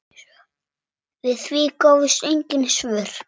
Við því gáfust engin svör.